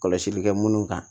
Kɔlɔsili kɛ munnu kan